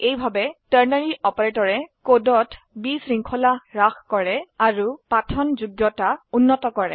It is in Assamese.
এইভাবে টাৰ্নাৰী অপাৰেটৰে কোডত বিশৃঙ্খলা হ্ৰাস কৰে আৰু পঠনযোগ্যতা উন্নত কৰে